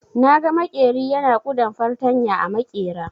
Naga maƙeri yana kuɗan fartanya a maƙera.